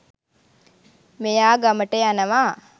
මෙ‍යා ‍ග‍ම‍ට ‍ය‍න‍වා.